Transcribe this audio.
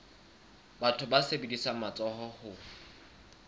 batho ba sebedisang matsoho ho